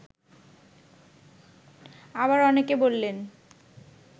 আবার অনেকে বললেন